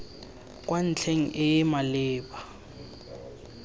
kwa ntlheng e e maleba